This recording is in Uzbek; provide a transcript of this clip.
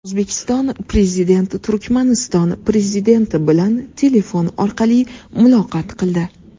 O‘zbekiston Prezidenti Turkmaniston Prezidenti bilan telefon orqali muloqot qildi.